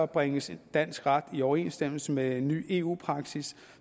bringes dansk ret i overensstemmelse med ny eu praksis